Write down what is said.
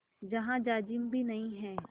जहाँ जाजिम भी नहीं है